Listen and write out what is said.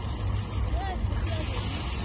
ge a šetše a bone